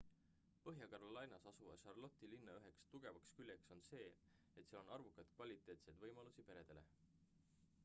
põhja-carolinas asuva charlotte'i linna üheks tugevaks küljeks on see et seal on arvukalt kvaliteetseid võimalusi peredele